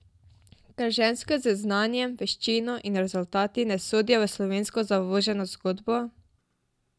Ker ženske z znanjem, veščino in rezultati ne sodijo v slovensko zavoženo zgodbo?